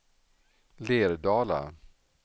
Lerdala